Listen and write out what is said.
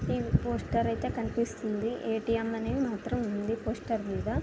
ఈవ్ poster ఐతే కనిపిస్తుంది A T M అనేది మాత్రం ఉంది. పోస్టర్ మీద--